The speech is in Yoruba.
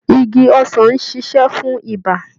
Igi ọsàn ń ṣiṣe fún ibà.